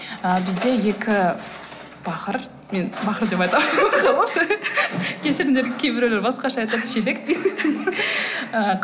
ыыы бізде екі бақыр мен бақыр деп айтамын кешіріңдер кейбіреулер басқаша айтады шелек дейді ы